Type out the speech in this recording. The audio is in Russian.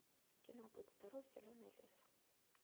кино будь здоров зеленый лес